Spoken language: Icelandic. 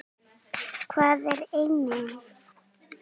Hvað er eiming?